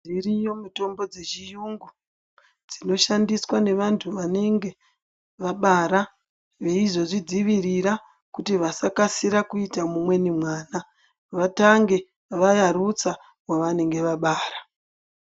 Dziriyo mitombo dzechiyungu , dzinoshandiswa nevantu vanenge vabara. Veizozvidzivirira kuti vasakasira kuita mumweni mwana vatange vayarutsa wavanenge vabara.